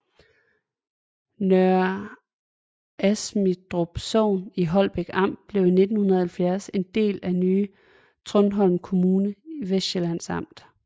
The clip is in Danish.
Nørre Asmindrup Sogn i Holbæk Amt blev i 1970 en del af den nye Trundholm Kommune i Vestsjællands Amt